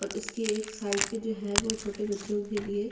और इसकी एक साइड पे जो है वह छोटे बच्चों के लिए--